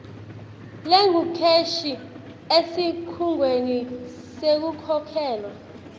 lengukheshi esikhungweni sekukhokhelwa